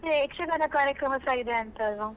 ಅದೇ ಯಕ್ಷಗಾನ ಕಾರ್ಯಕ್ರಮಸ ಇದೆ ಅಂತೆ ಅಲ್ವಾ?